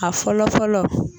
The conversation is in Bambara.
A fɔlɔ fɔlɔ